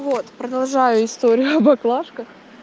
вот продолжаю историю о боклажках